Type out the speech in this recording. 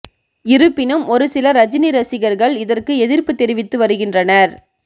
இருப்பினும் ஒரு சில ரஜினி ரசிகர்கள் இதற்கு எதிர்ப்பு தெரிவித்து வருகின்றனர்